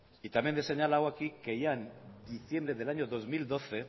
y también le he señalado aquí que ya en diciembre del año dos mil doce